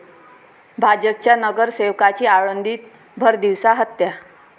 भाजपच्या नगरसेवकाची आळंदीत भरदिवसा हत्या